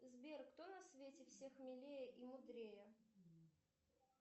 сбер кто на свете всех милее и мудрее